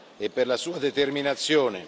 e per la sua determinazione.